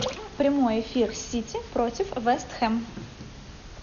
прямой эфир сити против вест хэм